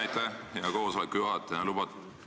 Aitäh, hea koosoleku juhataja!